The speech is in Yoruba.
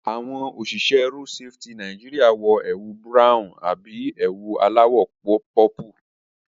Àwọn òṣìṣẹ́ road safety Nàìjíríà wọ ẹwù Búráhùn àbí ewu alÀwọ̀ pọ́pù